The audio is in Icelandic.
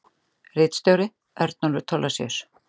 Ritstjóri: Örnólfur Thorlacius.